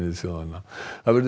þjóðanna